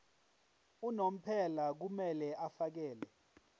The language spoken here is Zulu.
unomphela kumele afakele